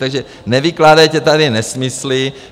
Takže nevykládejte tady nesmysly.